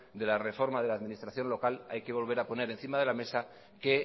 de la reforma de la administración local hay que volver a poner encima de la mesa que